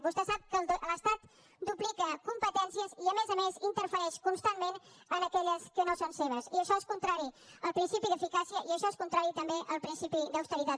vostè sap que l’estat duplica competències i a més a més interfereix constantment en aquelles que no són seves i això és contrari al principi d’eficàcia i això és contrari també al principi d’austeritat